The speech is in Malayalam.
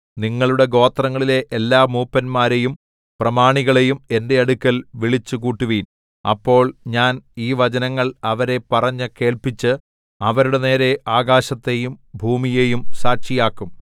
നിങ്ങളുടെ ഗോത്രങ്ങളിലെ എല്ലാ മൂപ്പന്മാരെയും പ്രമാണികളെയും എന്റെ അടുക്കൽ വിളിച്ചുകൂട്ടുവീൻ അപ്പോൾ ഞാൻ ഈ വചനങ്ങൾ അവരെ പറഞ്ഞു കേൾപ്പിച്ച് അവരുടെ നേരെ ആകാശത്തെയും ഭൂമിയെയും സാക്ഷിയാക്കും